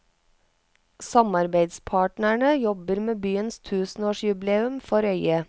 Samarbeidspartnerne jobber med byens tusenårsjubileum for øyet.